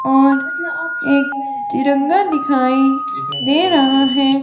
और एक तिरंगा दिखाई दे रहा है।